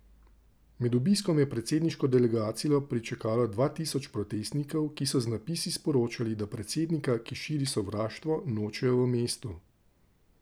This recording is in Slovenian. Med obiskom je predsedniško delegacijo pričakalo dva tisoč protestnikov, ki so z napisi sporočali, da predsednika, ki širi sovraštvo, nočejo v mestu.